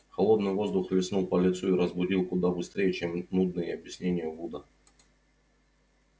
холодный воздух хлестнул по лицу и разбудил куда быстрее чем нудные объяснения вуда